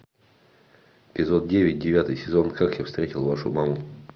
эпизод девять девятый сезон как я встретил вашу маму